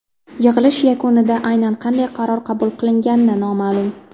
Yig‘ilish yakunida aynan qanday qaror qabul qilingani noma’lum.